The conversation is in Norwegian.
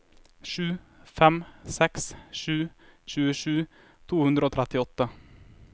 sju fem seks sju tjuesju to hundre og trettiåtte